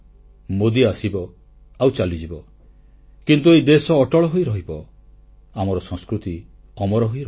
ମୋଦୀ ଆସିବ ଆଉ ଚାଲିଯିବ କିନ୍ତୁ ଏହି ଦେଶ ଅଟଳ ହୋଇରହିବ ଆମର ସଂସ୍କୃତି ଅମର ହୋଇ ରହିବ